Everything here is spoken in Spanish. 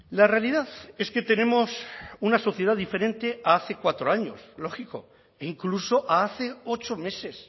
la realidad es que tenemos una sociedad diferente a hace cuatro años lógico e incluso a hace ocho meses